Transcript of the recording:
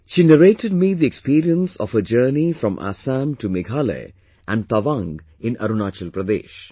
She narrated me the experience of her journey from Assam to Meghalaya and Tawang in Arunachal Pradesh